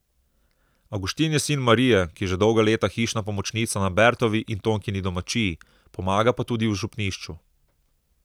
Avguštin je sin Marije, ki je že dolga leta hišna pomočnica na Bertovi in Tonkini domačiji, pomaga pa tudi v župnišču.